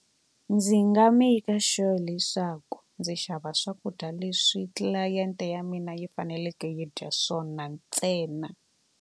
Ndzi nga maker sure leswaku ndzi xava swakudya leswi tlilayenti ya mina yi faneleke yi dya swona ntsena.